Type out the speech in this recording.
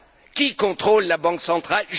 Qui contrôle la Banque centrale?